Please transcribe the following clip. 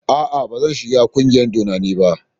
Aa, bazan shiga ƙungiyar dodanni ba.